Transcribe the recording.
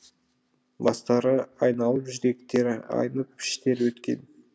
бастары айналып жүректері айнып іштері өткен